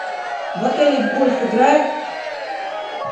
в отеле в гольф играют